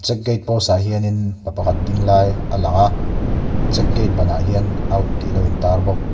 check gate post ah hianin pa pakhat ding lai a lang a check gate ban ah hian out tih alo in tar bawk.